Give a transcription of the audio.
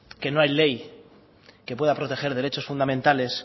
que no hay que pueda proteger derechos fundamentales